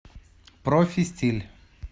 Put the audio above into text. профистиль